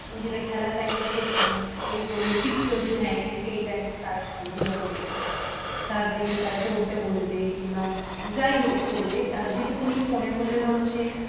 নিজেদের খেলার time টা একটু মানে এ করে দিলে fixed করে দিলে যে, হ্যাঁ এই থেকে এই time টা তারা খেলাধুলা করবে তারপরে এসে তারা পড়তে বসবে কিংবা যাইহোক করবে আর যেটুকুনই ফোনের মধ্যে ধরো সে